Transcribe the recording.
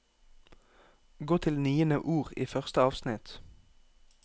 Gå til niende ord i første avsnitt